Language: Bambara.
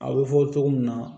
A bɛ fɔ cogo min na